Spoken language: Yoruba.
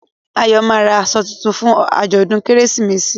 Ayo má rà aṣọ títún fún ajọdun Kérésìmesì